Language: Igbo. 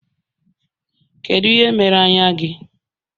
Kedu ihe mere anya gị?